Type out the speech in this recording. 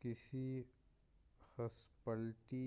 کسی ہاسپٹلٹی